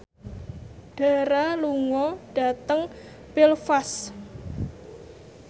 Dara lunga dhateng Belfast